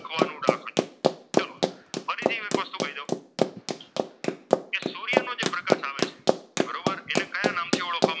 બરોબર એટલે કયા નામથી ઓળખવા?